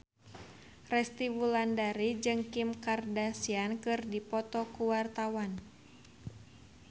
Resty Wulandari jeung Kim Kardashian keur dipoto ku wartawan